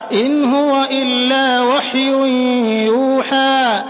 إِنْ هُوَ إِلَّا وَحْيٌ يُوحَىٰ